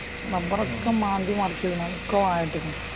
റബറൊക്കെ മാന്തി മറിച്ചിട്ട് വായ നട്ടേക്കണ്